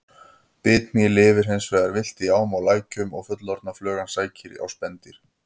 Bitmý lifir hins vegar villt í ám og lækjum og fullorðna flugan sækir á spendýr.